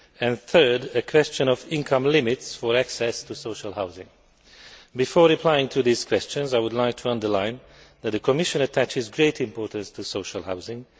The third a question of income limits for access to social housing. Before replying to these questions, I would like to underline that the Commission attaches great importance to social housing.